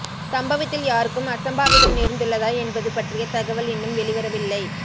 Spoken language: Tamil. சம்பவத்தில் யாருக்கும் அசம்பாவிதம் நேர்ந்துள்ளதா என்பது பற்றிய தகவல் இன்னும் வெளிவரவில்லை